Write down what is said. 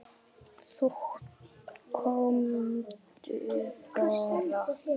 Komdu bara.